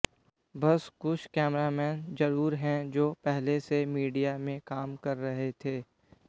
बस कुछ कैमरामैन जरूर हैं जो पहले से मीडिया में काम कर रहे थे